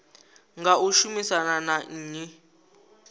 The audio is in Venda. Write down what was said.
nga u shumisana na nnyi